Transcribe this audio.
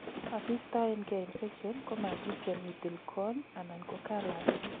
asistoengei infection, komat ityem itil corn anan ko callus